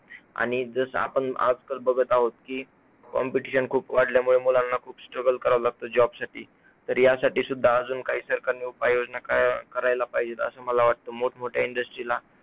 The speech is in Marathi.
आणि जस आपण आजकल बघत आहोत कि competition खूप वाढल्यामुळे मुलांना खूप struggle करावं लागतं job साठी तर यासाठी सुद्धा अजून काय सरकारनी उपाय योजना का करायला पाहिजेत असं मला वाटतं. मोठमोठया industry ला जर